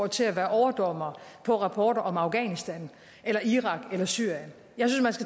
til at være overdommer på rapporter om afghanistan irak eller syrien jeg